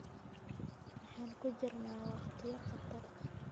Waxaan ku jirnaa waqtiyo khatar ah.